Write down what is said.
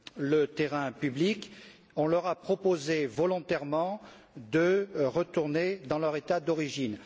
le terrain public, on leur a proposé volontairement de retourner dans leur État d'origine.